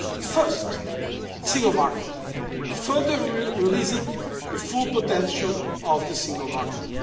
Firstly, the single market further releasing the full potential of the single market.